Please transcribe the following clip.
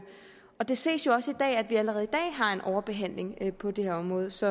det ses jo også at vi allerede i dag har en overbehandling på det område så